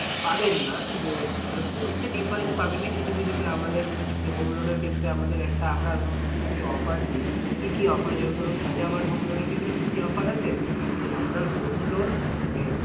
পাবেন না যে মানে খুব একটা different পাবেন না কিছু কিছুতে আমাদের যে home loan এর ক্ষেত্রে আমাদের একটা আমরা ধরুন কিছু কিছু offer দিই কি কি offer যেরকম ধরুন home loan এর ক্ষেত্রে কি কি offer আছে যে আপনার home loan মানে